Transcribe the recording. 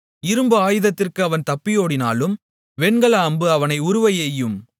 இரும்பு ஆயுதத்திற்கு அவன் தப்பியோடினாலும் வெண்கல அம்பு அவனை உருவ எய்யும்